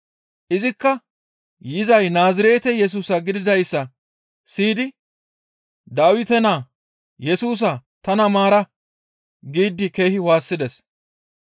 Izikka yizay Naazirete Yesusa gididayssa siyidi, «Dawite naa Yesusa tana maara» giidi keehi waassides.